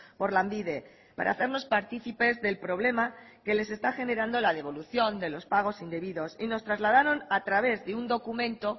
por lanbide para hacernos partícipes del problema que les está generando la devolución de los pagos indebidos y nos trasladaron a través de un documento